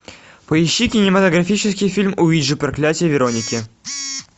поищи кинематографический фильм уиджи проклятие вероники